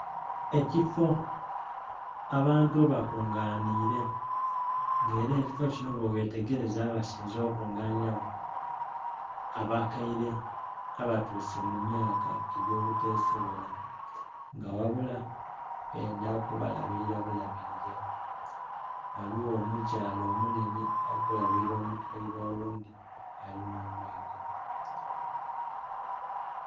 Ekifoo abantu ghe bakunganhire nga era ekifoo kinho bwe ghetegereza abasinze okuba kunganyira gho abakaire abatuse mu myaka egyo butesobola nga ghabula bendha kubalabira bulabirire. Ghaligho omukyala omunene ali kulabulila omukaire oghundhi alinha omwigo.